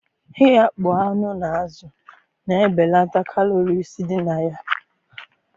Ighakpo anụ na azụ na ebenata kalories dị na ya